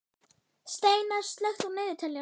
Steinar, slökktu á niðurteljaranum.